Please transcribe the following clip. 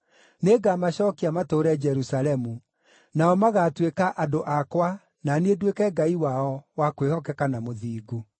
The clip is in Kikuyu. Nĩngamacookia matũũre Jerusalemu; nao magaatuĩka andũ akwa na niĩ nduĩke Ngai wao wa kwĩhokeka na mũthingu.”